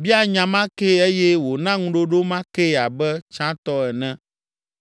bia nya ma kee eye wòna ŋuɖoɖo ma kee abe tsãtɔ ene.